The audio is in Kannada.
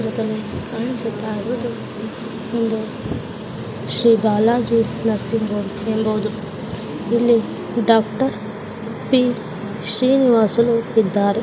ಕಾಣಿಸುತ್ತಾಯಿರುವುದು ಒಂದು ಶ್ರೀ ಬಾಲಾಜಿ ನರ್ಸಿಂಗ್ ಹೋಂ ಎಂಬುವುದು ಇಲ್ಲಿ ಡಾಕ್ಟರ್ ಪಿ. ಶ್ರೀನುವಾಸುಲು ಇದ್ದಾರೆ.